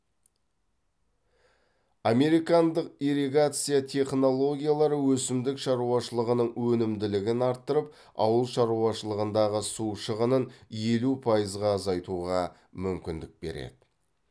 американдық ирригация технологиялары өсімдік шаруашылығының өнімділігін арттырып ауыл шаруашылығындағы су шығынын елу пайызға азайтуға мүмкіндік береді